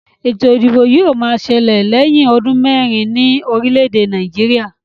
Ètò ìdìbò yóò ma ṣẹlẹ̀ lẹ̀yín ọdún mẹ́rin ní orílè èdè Nàìjíríà